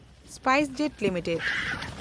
SpiceJet limited